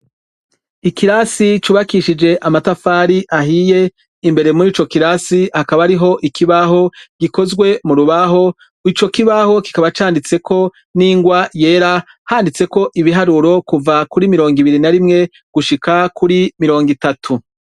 Ikirasi cubakishije amatafari ahiye ,imbere muri ico kirasi hakaba ariho ikibaho gikozwe m'urubaho, ico kibaho kikaba canditseko n'ingwa yera, handitseko ibiharuro kuva kuri mirongo ibiri na rimwe ,gushika kuri mirongitatu.